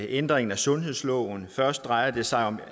ændringen af sundhedsloven først drejer det sig om